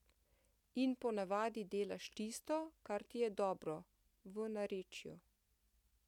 In po navadi delaš tisto, kar ti je dobro, v narečju.